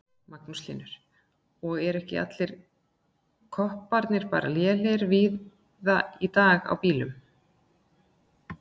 Magnús Hlynur: Og eru ekki kopparnir bara lélegir víða í dag á bílum?